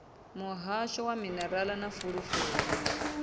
muhasho wa minerala na fulufulu